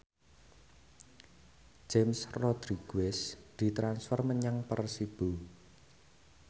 James Rodriguez ditransfer menyang Persibo